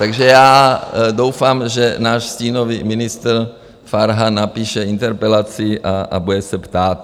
Takže já doufám, že náš stínový ministr Farhan napíše interpelaci a bude se ptát.